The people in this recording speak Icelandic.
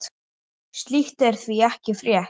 Slíkt er því ekki frétt.